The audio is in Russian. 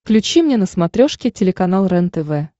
включи мне на смотрешке телеканал рентв